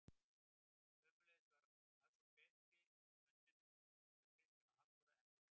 Sömuleiðis var aðsókn betri að fundum sem þau Kristján og Halldóra efndu til.